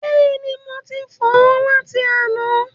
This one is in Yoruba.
Bẹ́ẹ̀ni, mo ti fọ̀ ọ́ láti àná.